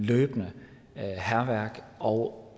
løbende er hærværk og